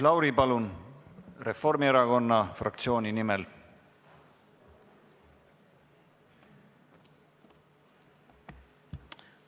Maris Lauri Reformierakonna fraktsiooni nimel, palun!